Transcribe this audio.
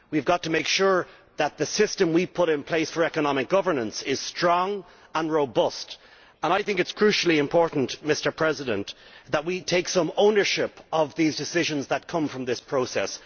We have to make sure that the system we put in place for economic governance is strong and robust, and I think it is crucially important that we take some ownership of the decisions that come from this process.